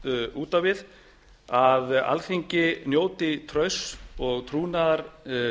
út á við að alþingi njóti trausts og trúnaðar